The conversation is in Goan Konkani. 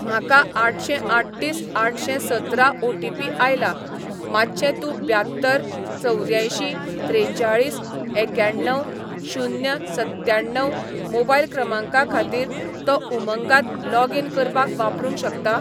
म्हाका आठशेंआठतीस आठशेंसतरा ओटीपी आयला, मातशें तूं ब्यात्तर चवद्यांयशीं त्रेचाळीस एक्याण्णव शून्य सत्त्याण्णव मोबायल क्रमांका खातीर तो उमंगात लॉगीन करपाक वापरूंक शकता?